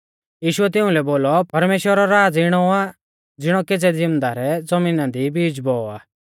यीशुऐ तिउंलै बोलौ परमेश्‍वरा रौ राज़ इणौ आ ज़िणौ केज़ै ज़िमदारै ज़मीना दी बीज बौऔ आ